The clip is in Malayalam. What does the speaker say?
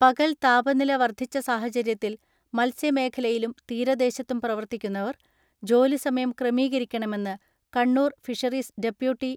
പകൽ താപനില വർധിച്ച സാഹചര്യത്തിൽ മത്സ്യമേഖ ലയിലും തീരദേശത്തും പ്രവർത്തിക്കുന്നവർ ജോലിസമയം ക്രമീകരിക്കണമെന്ന് കണ്ണൂർ ഫിഷറീസ് ഡെപ്യൂട്ടി